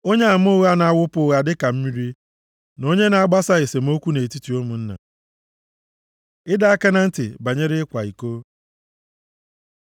onyeama ụgha na-awụpụ ụgha dịka mmiri na onye na-agbasa esemokwu nʼetiti ụmụnna. Ịdọ aka na ntị banyere ịkwa iko